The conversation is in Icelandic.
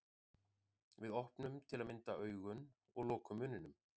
Við opnum til að mynda augun og lokum munninum.